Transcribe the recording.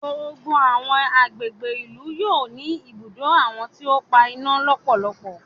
Gbogbo àwọn àgbègbè ìlú yóò ní ibùdó àwọn tí o n pa iná lọpọlọpọ.